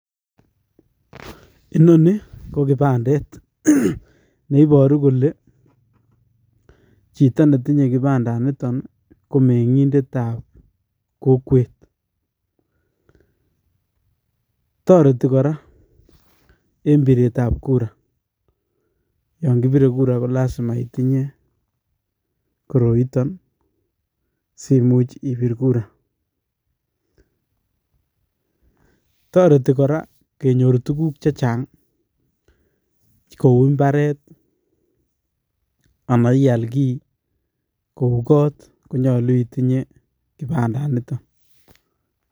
Inonii ko kipandet neiboru kolee chito netinye kipandaniton komeng'indetab kokwet, toreti kora en biretab kura, yoon kibire kura kolasima itinye koroiton simuch ibir kura, toreti kora kenyor tukuk chechang kouu ii mbaret anaa ial kii kouu kot konyolu itinye kipandaniton.